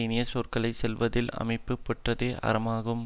இனிய சொற்களை சொல்லுவதில் அமைய பெற்றதே அறமாகும்